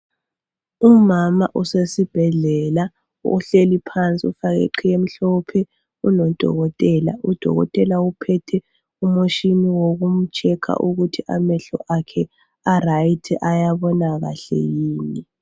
Umama usesibhedlela uhleli phansi, ufake iqhiye mhlophe unodokotela, udokotela uphethe umutshini wokum"checker" ukuthi amahlo akhe a"right" bayabona kahle yini.